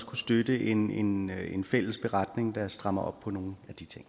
kunne støtte en en fælles beretning der strammer op på nogle